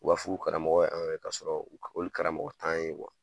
U b'a fɔ k'u karamɔgɔ ye an ye, k'a sɔrɔ olu karamɔgɔ t'an ye